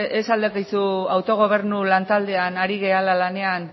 ez al dakizu autogobernu lan taldean ari garela lanean